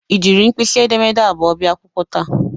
Ị jiri mkpisi edemede abụọ bia akwụkwọ taa?